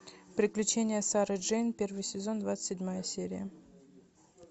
приключения сары джейн первый сезон двадцать седьмая серия